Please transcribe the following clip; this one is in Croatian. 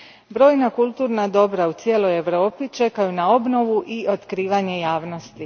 Brojna kulturna dobra u cijeloj Europi čekaju na obnovu i otkrivanje javnosti.